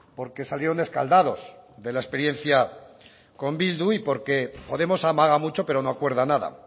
porque salieron escaldados de la experiencia con bildu y porque podemos amaga mucho pero no acuerda nada